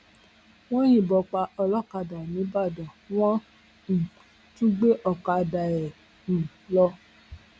wọn yìnbọn pa olókàdá nígbàdàn wọn um tún gbé ọkadà ẹ um lọ